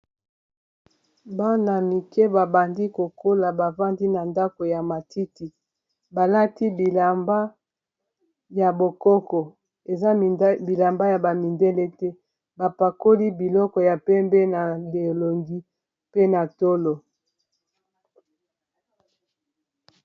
bana mike babandi kokola bavandi na ndako ya matiti balati bilamba ya bokoko eza bilamba ya bamindele te bapakoli biloko ya pembe na bilongi pe na tolo.